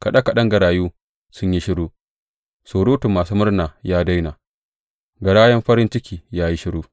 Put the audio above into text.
Kaɗe kaɗen garayu sun yi shiru, surutun masu murna ya daina, garayan farin ciki ya yi shiru.